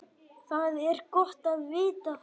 Það er gott að vita það.